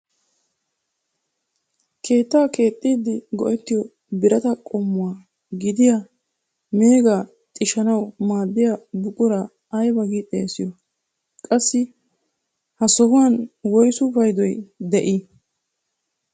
Keettaa keexxiidi go"ettiyoo biraataa qommuwaa gidiyaa megaa xishshanawu maaddiyaa buquraa ayba giidi xeegiyoo? qassi ha sohuwaan woysu paydoy paydoy de'ii?